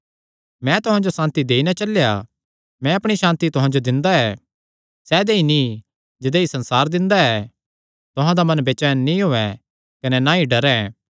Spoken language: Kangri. मैं तुहां जो सांति देई नैं चलेया मैं अपणी सांति तुहां जो दिंदा ऐ सैदेई नीं जदेई संसार दिंदा ऐ तुहां दा मन बेचैन नीं होयैं कने ना ई डरे